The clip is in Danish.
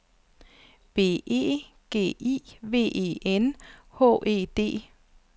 B E G I V E N H E D